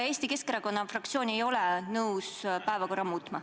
Eesti Keskerakonna fraktsioon ei ole nõus päevakorda muutma.